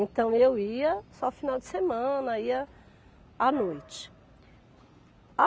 Então, eu ia só final de semana, ia à noite.